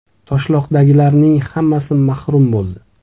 Toshloqdagilarning hammasi mahrum bo‘ldi!